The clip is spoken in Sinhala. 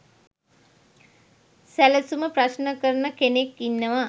සැලසුම ප්‍රශ්න කරන කෙනෙක් ඉන්නවා.